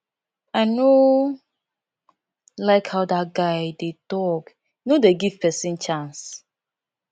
i no like how dat guy dey talk he no dey give person chance